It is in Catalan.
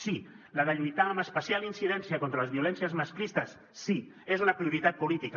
sí la de lluitar amb especial incidència contra les violències masclistes sí és una prioritat política